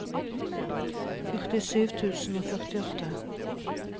førtisju tusen og førtiåtte